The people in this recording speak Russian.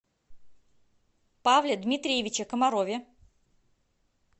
павле дмитриевиче комарове